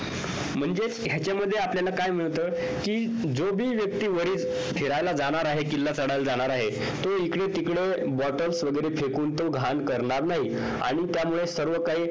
म्हणजेच ह्याच्या मध्ये आपल्याला काय मिळत कि जो भी व्यक्ती वरील फिरायला जाणार आहे किल्ला चढायला जाणार आहे तो इकडे तिकडे bottle वगैरे फेकून तो घाण करणार नाही आणि त्यामुळे सर्व काही